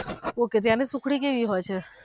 ok ત્યાંની સુખડી કેવી હોઈ છે.